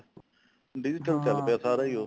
digital ਚੱਲ ਪਿਆ ਸਾਰਾ ਈ ਉਹ